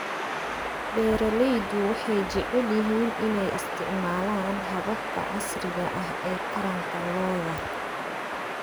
Beeraleydu waxay jecel yihiin inay isticmaalaan hababka casriga ah ee taranta lo'da.